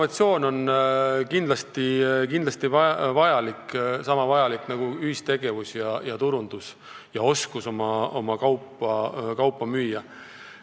See on kindlasti sama vajalik nagu ühistegevus, turundus ja oskus oma kaupa müüa.